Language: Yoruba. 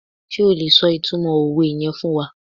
Sé o lè so ìtumọ̀ òwe yen fún wa?